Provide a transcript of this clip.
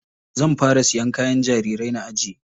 Zan fara siyan kayan jarirai na ajiye.